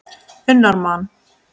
unnar mann.